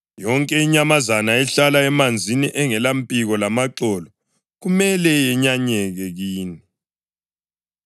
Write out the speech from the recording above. Yonke inyamazana ehlala emanzini engalampiko lamaxolo kumele yenyanyeke kini.